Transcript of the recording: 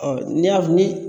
Ɔ n'i y'a ni